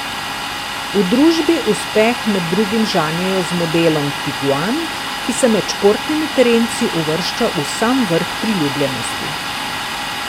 V družbi uspeh med drugim žanjejo z modelom tiguan, ki se med športnimi terenci uvršča v sam vrh priljubljenosti.